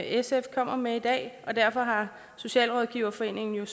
sf kommer med i dag og derfor har socialrådgiverforeningen